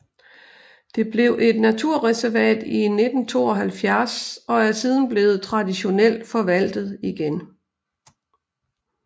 Det blev et naturreservat i 1972 og er siden blevet traditionelt forvaltet igen